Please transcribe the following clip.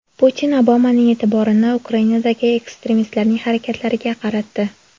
Putin Obamaning e’tiborini Ukrainadagi ekstremistlarning harakatlariga qaratdi.